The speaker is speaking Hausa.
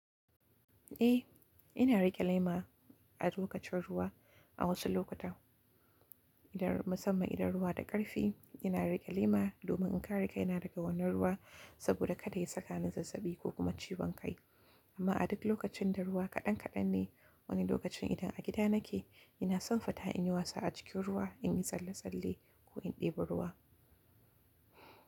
Eh, ina riƙe lema a lokacin ruwa a wasu lokuta. Idan musamman idan ruwa da ƙarfi, ina riƙe lema domin in kare kaina daga wani ruwa saboda kada ya saka ni zazzabi ko kuma ciwon kai. Amma a duk lokacin da ruwa kaɗan kaɗan ne, wani lokacin idan a gida nake, ina son fita in yi wasa a cikin ruwa, in yi tsalle-tsalle ko in ɗebi ruwa.